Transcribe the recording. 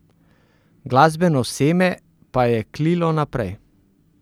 Glasbeno seme pa je klilo naprej.